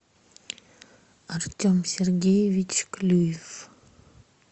артем сергеевич клюев